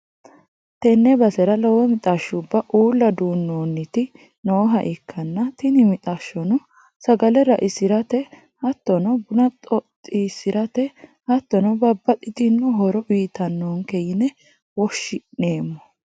tenne basera lowo mixashshubba uulla duu'noonniti nooha ikkanna, tini mixashshono sagale ra'isirate hattono buna xoxxisi'rate hattono babbaxxitino horo uytannonke yine woshshi'neemmo.